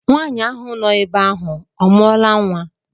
Nwaanyị ahụ no ebe ahụ ọ mụọla nnwa?